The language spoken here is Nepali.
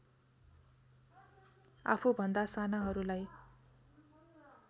आफूभन्दा सानाहरूलाई